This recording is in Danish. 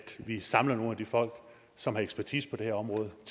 vi samler nogle af de folk som har ekspertise på det område og